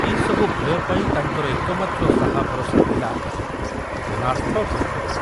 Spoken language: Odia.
ଏ ସବୁ ଭୟ ପାଇଁ ତାଙ୍କର ଏକମାତ୍ର ସାହା ଭରସା ଥିଲା ନାଥ ଖୁଣ୍ଟିଆ।